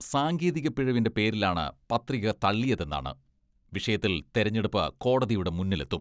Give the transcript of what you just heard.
സാങ്കേതിക പിഴവിന്റെ പേരിലാണ് പത്രിക തള്ളിയതെന്നാണ് വിഷയത്തിൽ തെരഞ്ഞെടുപ്പ് കോടതിയുടെ മുന്നിലെത്തും.